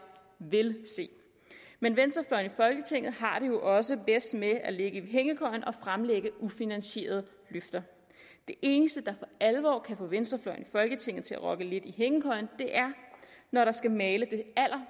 vil se men venstrefløjen i folketinget har det jo også bedst med at ligge i hængekøjen og fremlægge ufinansierede løfter det eneste der for alvor kan få venstrefløjen i folketinget til at rokke lidt i hængekøjen er når der skal males det